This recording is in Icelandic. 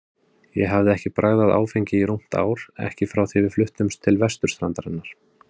Ég hafði ekki bragðað áfengi í rúmt ár, ekki frá því við fluttumst til vesturstrandarinnar.